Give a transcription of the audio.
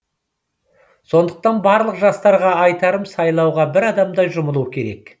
сондықтан барлық жастарға айтарым сайлауға бір адамдай жұмылу қажет